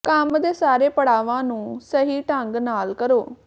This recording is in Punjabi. ਕੰਮ ਦੇ ਸਾਰੇ ਪੜਾਵਾਂ ਨੂੰ ਸਹੀ ਢੰਗ ਨਾਲ ਕਰੋ